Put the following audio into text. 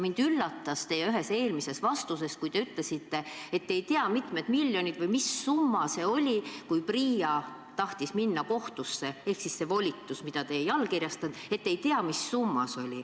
Mind üllatas teie ühes eelmises vastuses see, kui te ütlesite, et te ei tea, kui mitu miljonit seda oli või mis summa see oli, kui PRIA tahtis minna kohtusse, ehk selle volituse puhul, mida te ei allkirjastanud, te ei tea, mis summast jutt oli.